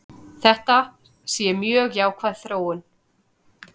Þetta sé mjög jákvæð þróun.